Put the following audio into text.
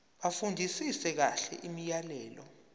bafundisise kahle imiyalelo